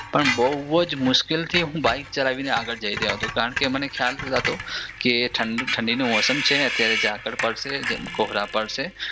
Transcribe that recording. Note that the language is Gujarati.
પણ હું બહુજ મુસ્કીલથી હું બાઇક ચલાવી ને આગળ જઈ રહ્યોં હતો કારણ કે મને ખ્યાલ હતો કે ઠંડીનું મોસમ છે ને અત્યારે ઝાકળ પડશે કોહરા પડશે